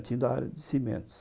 A Votorantim da área de cimentos.